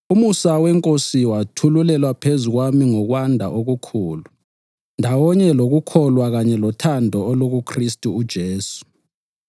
Umusa weNkosi wathululelwa phezu kwami ngokwanda okukhulu, ndawonye lokukholwa kanye lothando olukuKhristu uJesu.